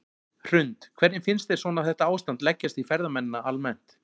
Hrund: Hvernig finnst þér svona þetta ástand leggjast í ferðamennina almennt?